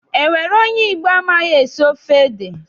Enwere onye Igbo amaghị esi ofe ede?